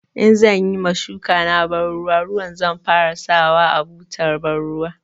In zan yi ma shukana banruwa ruwa zan fara sawa a butar banruwa.